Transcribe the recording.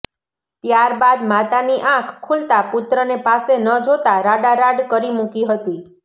ત્યારબાદ માતાની આંખ ખુલતા પુત્રને પાસે ન જોતા રાડા રાડ કરી મુકી હતી